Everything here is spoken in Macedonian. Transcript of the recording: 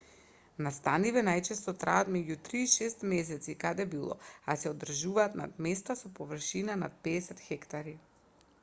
настаниве најчесто траат меѓу три и шест месеци каде било а се одржуваат на места со површина над 50 хектари